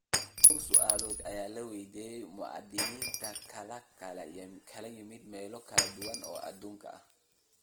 dhowr su'aalood ayaa la weydiiyay muwaadiniin ka kala yimid meelo kala duwan oo adduunka ah.